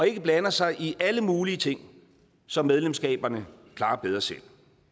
ikke blander sig i alle mulige ting som medlemslandene klarer bedre selv